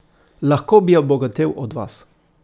Lahko bi obogatel od vas.